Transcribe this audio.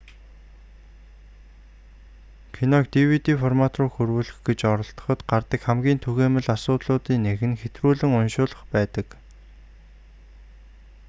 киног dvd формат руу хөрвүүлэх гэж оролдоход гардаг хамгийн түгээмэл асуудлын нэг нь хэтрүүлэн уншуулах байдаг